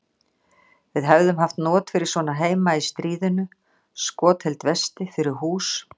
Við hefðum haft not fyrir svona heima í stríðinu: Skotheld vesti fyrir hús.